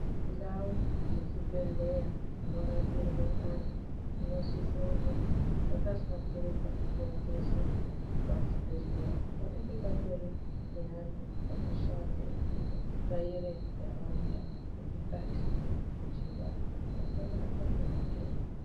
Ndau dzezvibhendleya dzinorapirwe antu dzinosise kunge dzakahlamburuka nguwa dzeshe. Pachibhendhleya panenge patori neantu anoshande zvekutsvaira nharaunda nemukati kuti vanhu vasabatwa ngematenda.